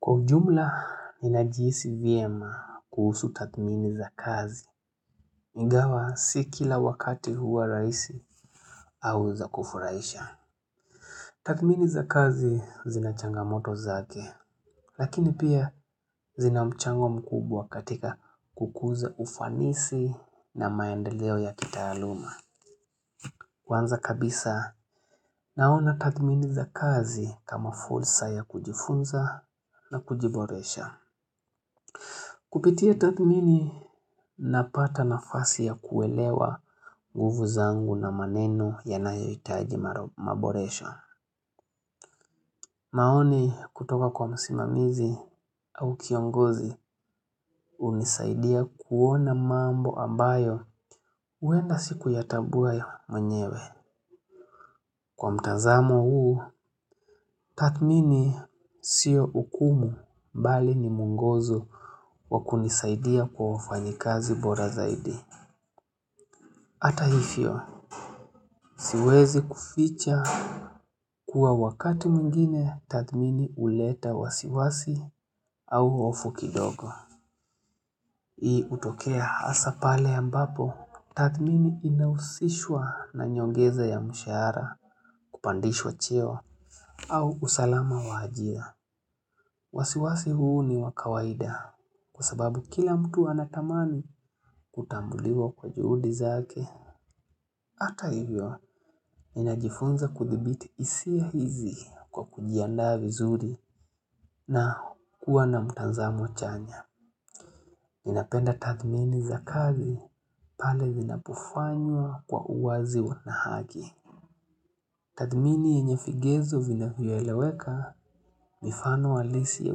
Kwa ujumla ninajihisi vyema kuhusu tathmini za kazi. iNgawa si kila wakati huwa rahisi au za kufurahisha. Tattmini za kazi zinachangamoto zake. Lakini pia zinamchango mkubwa katika kukuza ufanisi na maendeleo ya kitaaaluma. kWanza kabisa naona tathmini za kazi kama fursa ya kujifunza na kujiboresha. Kupitia tathmini napata nafasi ya kuelewa nguvu zangu na maneno ya nayohitaji maboresho. Maoni kutoka kwa msimamizi au kiongozi hunisaidia kuona mambo ambayo huenda sikuyatambua mwenyewe. Kwa mtazamo huu, tathmini sio ukumu bali ni mwongozo wakunisaidia kwa ufanyikazi bora zaidi. Hata hivyo, siwezi kuficha kuwa wakati mwingine tathmini huleta wasiwasi au hofu kidogo. Hii hutokea hasa pale ambapo, tathmini inahusishwa na nyongeza ya mshahara kupandishwa cheo au usalama wa ajira. Wasiwasi huu ni wakawaida kwa sababu kila mtu anatamani kutambuliwa kwa juhudi zake. Hata hivyo, minajifunza kuthibiti hisia hizi kwa kujiandaa vizuri na kuwa na mtazamo chanya. Ninapenda tathmini za kazi pale vina pofanywa kwa uwazi na haki. Tathmini yenye vigezo vinavyoeleweka mifano halisi ya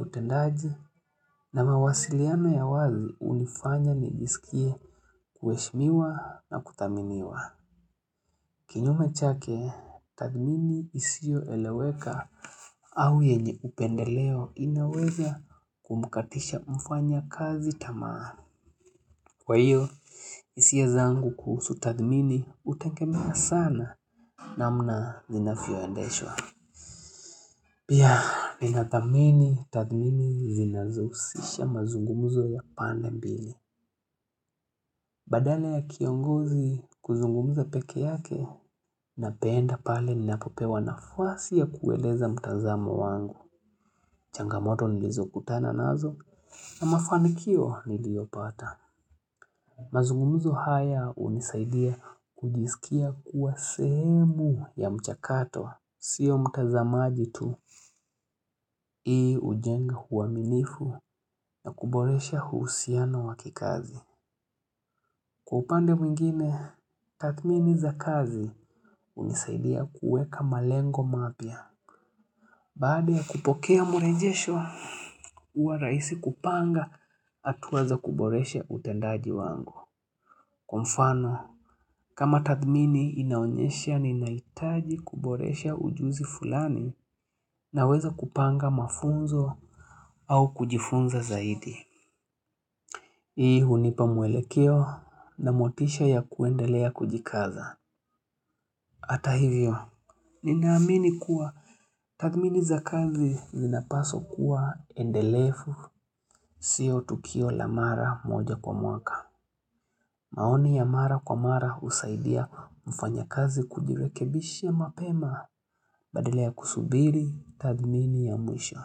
utendaji na mawasiliano ya wazi hunifanya nijisikie kuheshmiwa na kuthaminiwa. Kinyume chake, tathmini isio eleweka au yenye upendeleo inaweza kumkatisha mfanya kazi tamaa. Kwa hiyo, hisia zangu kuhusu tathmini hutegemea sana namna zinavyo endeshwa. Pia, ninathamini tathmini zinazohusisha mazungumzo ya pande mbili. Badala ya kiongozi kuzungumuza pekee yake na penda pale ni napopewa nafasi ya kueleza mtazamo wangu. Changamoto nilizokutana nazo na mafanikio niliopata. Mazungumzo haya hunisaidia kujisikia kuwa sehemu ya mchakato. Sio mtazamaji tu hii hujenga uaminifu na kuboresha uhusiano wa kikazi. Kwa upande mwingine, tathmini za kazi hunisaidia kuweka malengo mapya. Baada ya kupokea mrejesho, huwa rahisi kupanga hatua za kuboresha utendaji wangu. Kwa mfano, kama tathmini inaonyesha ni nahitaji kuboresha ujuzi fulani na weza kupanga mafunzo au kujifunza zaidi. Hii hunipa mwelekeo na motisha ya kuendelea kujikaza. Hata hivyo, ninaamini kuwa tathmini za kazi zinapaswa kuwa endelefu siyo tukio la mara moja kwa mwaka. Maoni ya mara kwa mara husaidia mfanya kazi kujirekebisha mapema badala ya kusubiri tathmini ya mwisho.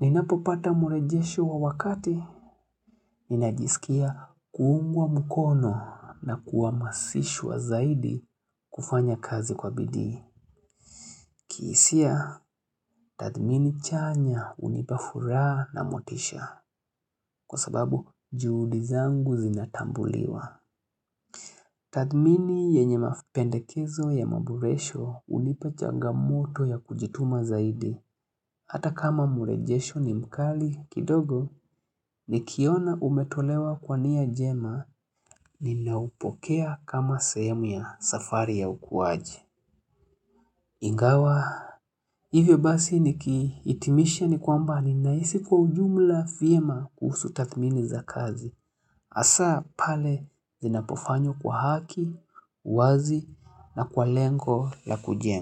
Ninapo pata murejesho wa wakati, ninajisikia kuungwa mkono na kuhamasishwa zaidi kufanya kazi kwa bidii. Kihisia, tathmini chanya hunipa furaha na motisha kwa sababu juhudi zangu zinatambuliwa. Tathmini yenye mapendekezo ya maboresho uhnipa changamoto ya kujituma zaidi. Hata kama mrejesho ni mkali kidogo ni kiona umetolewa kwania njema ni naupokea kama sehemu ya safari ya ukuwaji. Ingawa, hivyo basi ni kihitimisha ni kwamba ninahisi kwa ujumla vyema kuhusu tathmini za kazi. hAsa pale zinapofanywa kwa haki, uwazi na kwa lengo la kujenga.